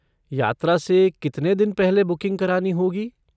यात्रा से कितने दिन पहले बुकिंग करानी होगी?